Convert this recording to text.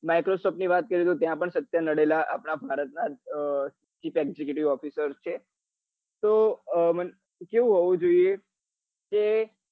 microsoft ની વાત કરીએ તો ત્યાં પણ સત્ય અડેલા આપડા ભારત નાં officer છે તો અ કેવું હોવું જોઈએ